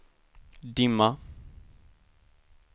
dimma